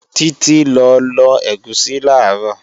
Títí lọ lọ ẹ̀gúsí làárọ̀